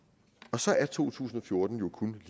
så er to tusind og fjorten jo kun